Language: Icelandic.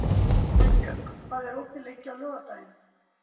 Unnbjörg, hvað er opið lengi á laugardaginn?